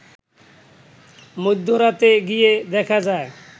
মধ্যরাতে গিয়ে দেখা যায়